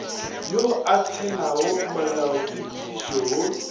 yo a tshelago molaotshepedišo wo